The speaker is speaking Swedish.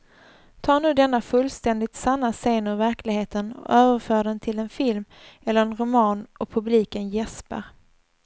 Ta nu denna fullständigt sanna scen ur verkligheten och överför den till en film eller en roman och publiken jäspar.